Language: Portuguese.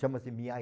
Chama-se Miai.